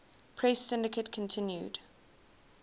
press syndicate continued